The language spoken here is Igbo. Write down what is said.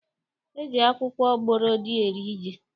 E ji akwụkwọ gbọrọdị eri ji